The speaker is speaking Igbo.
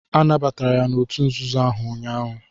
Anabatara ya n'òtù nzuzo ahụ ụnyaahụ.